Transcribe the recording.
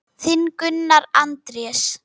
Þinn, Gunnar Andrés.